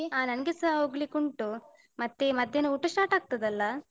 ಅಹ್ ನನ್ಗೆಸ ಹೋಗ್ಲಿಕ್ಕುಂಟು. ಮತ್ತೆ ಮಧ್ಯಾನ ಊಟ start ಆಗ್ತದಲ್ಲ?